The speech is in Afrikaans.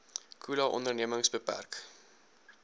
khula ondernemings beperk